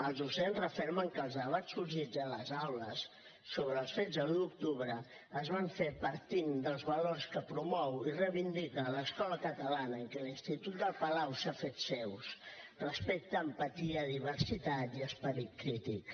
els docents refermen que els debats sorgits a les aules sobre els fets de l’un d’octubre es van fer partint dels valors que promou i reivindica l’escola catalana i que l’institut el palau s’ha fet seus respecte empatia diversitat i esperit crític